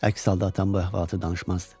Əks halda atam bu əhvalatı danışmazdı.